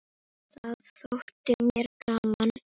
Það þótti mér gaman.